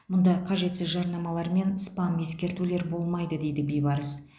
мұнда қажетсіз жарнамалар мен спам ескертулер болмайды дейді бибарыс